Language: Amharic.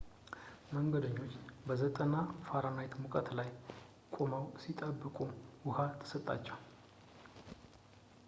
መንገደኞች በ 90f-ሙቀት ላይ ቆመው ሲጠብቁ ውሃ ተሰጣቸው፡፡